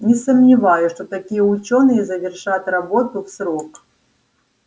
не сомневаюсь что такие учёные завершат работу в срок